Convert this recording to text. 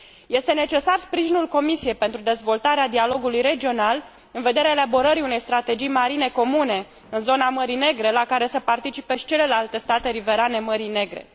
Este necesar sprijinul Comisiei pentru dezvoltarea dialogului regional în vederea elaborării unei strategii marine comune în zona Mării Negre, la care să participe și celelalte state riverane Mării Negre.